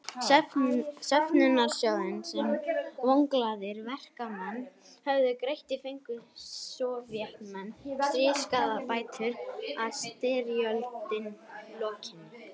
Söfnunarsjóðinn sem vonglaðir verkamenn höfðu greitt í fengu Sovétmenn í stríðsskaðabætur að styrjöld lokinni.